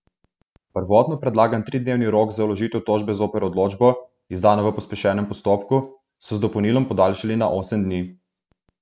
Prvotno predlagan tridnevni rok za vložitev tožbe zoper odločbo, izdano v pospešenem postopku, so z dopolnilom podaljšali na osem dni.